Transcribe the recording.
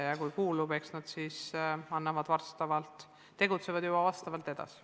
Ja kui kuulub, eks nad siis tegutsevad juba vastavalt edasi.